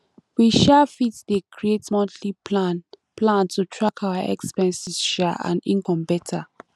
we um fit um create monthly plan plan to track our expenses um and income beta